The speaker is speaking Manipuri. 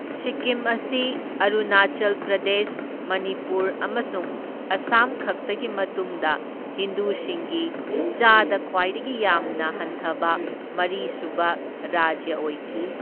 ꯁꯤꯛꯀꯤꯝ ꯑꯁꯤ ꯑꯔꯨꯅꯥꯆꯜ ꯄ꯭ꯔꯗꯦꯁ, ꯃꯅꯤꯄꯨꯔ ꯑꯃꯁꯨꯡ ꯑꯁꯥꯝ ꯈꯛꯇꯒꯤ ꯃꯇꯨꯡꯗ ꯍꯤꯟꯗꯨꯁꯤꯡꯒꯤ ꯆꯥꯗꯥ ꯈ꯭ꯋꯥꯏꯗꯒꯤ ꯌꯥꯝꯅ ꯍꯟꯊꯕ ꯃꯔꯤꯁꯨꯕ ꯔꯥꯖ꯭ꯌ ꯑꯣꯏꯈꯤ꯫